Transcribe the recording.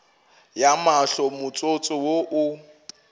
ya mahlo motsotso wo o